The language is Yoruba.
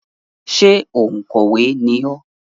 Ṣé òǹkọ̀wé ni ọ́?